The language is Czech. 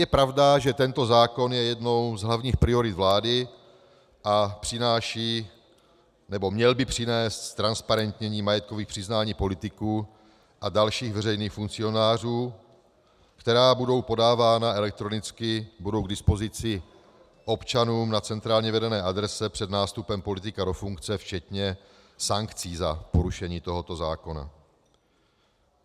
Je pravda, že tento zákon je jednou z hlavních priorit vlády a přináší - nebo měl by přinést - ztransparentnění majetkových přiznání politiků a dalších veřejných funkcionářů, která budou podávána elektronicky, budou k dispozici občanům na centrálně vedené adrese před nástupem politika do funkce včetně sankcí za porušení tohoto zákona.